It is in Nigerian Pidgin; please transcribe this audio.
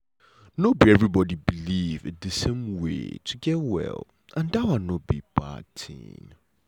no be everybody believe in the same way to get well and that one no be bad tin.